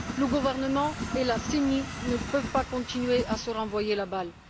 Le gouvernement et la CENI ne peuvent pas continuer à se renvoyer la balle.